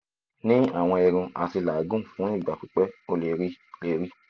ni awọn irun ati lagun fun igba pipẹ o le rii le rii